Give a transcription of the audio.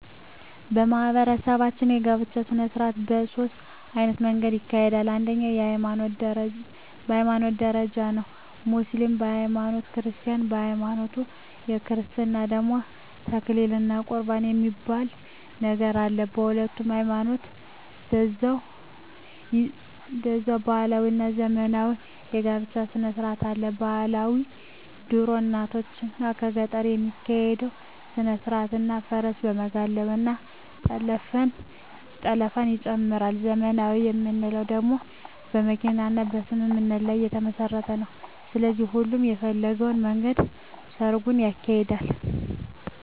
በማህበረሰባችን የጋብቻ ሰነስርአት በ ሶስት አይነት መንገድ ይካሄዳል አንደኛዉ በ ሀይማኖት ደረጃ ነዉ ሙስሊምም በ ሀይማኖቱ ክርስቲያንም በሀይማኖቱ በክርስትና ደግሞ ተክሊል እና ቁርባን የሚባል ነገር አለ በሁሉም ሀይማኖት ደዛዉ ባህላዊ እና ዘመናዊ የ ጋብቻ ስነስርአትም አለ ...ባህላዊ ድሮ እናቶቻችን በገጠር የሚካሄድ ስነስርአት እና ፈረስ በመጋለብ እና ጠለፍንም ይጨምራል .........ዘመናዊ የምንለዉ ደግሞ በመኪና እና በስምምነት ላይ የተመስረተ ነዉ ስለዚህ ሁሉም በፈለገዉ መንገድ ሰርጉን ያካሂዳል።